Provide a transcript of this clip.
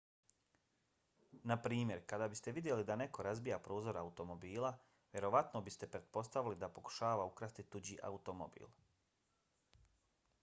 naprimjer kada biste vidjeli da neko razbija prozor automobila vjerojatno biste pretpostavili da pokušava ukrasti tuđi automobil